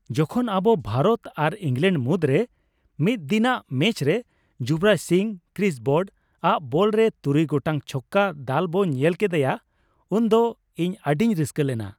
ᱡᱚᱠᱷᱚᱱ ᱟᱵᱚ ᱵᱷᱟᱨᱚᱛ ᱟᱨ ᱤᱝᱞᱮᱸᱰ ᱢᱩᱫᱽᱨᱮ ᱢᱤᱫ ᱫᱤᱱᱟᱜ ᱢᱮᱪᱨᱮ ᱡᱩᱵᱚᱨᱟᱡᱽ ᱥᱤᱝ ᱠᱨᱤᱥ ᱵᱨᱚᱰᱼᱟᱜ ᱵᱚᱞ ᱨᱮ ᱛᱩᱨᱩᱭ ᱜᱚᱴᱟᱝ ᱪᱷᱚᱠᱠᱟ ᱫᱟᱞ ᱵᱚ ᱧᱮᱧ ᱠᱮᱫᱮᱭᱟ ᱩᱱᱫᱚ ᱤᱧ ᱟᱹᱰᱤᱧ ᱨᱟᱹᱥᱠᱟᱹ ᱞᱮᱱᱟ ᱾